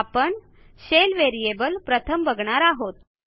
आपण shell variable प्रथम बघणार आहोत